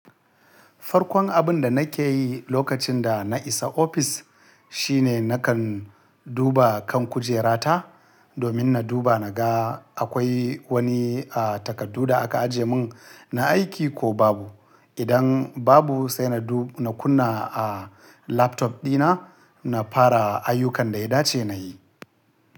Farkon abun da na ke yi lokacin da na isa ofis, shi ne na kan duba kan kujera ta, domin na duba na ga akwai wani, ah, takardu da aka aje mun na aiki ko babu. Idan babu, sai na du-- na kunna, ah, laptop dina, na fara ayyukan da ya dace na yi.